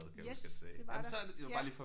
Yes det var der ja